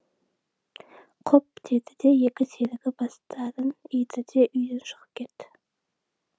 құп деді де екі серігі бастарын иді де үйден шығып кетті